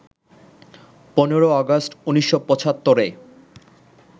১৫ August ১৯৭৫-এ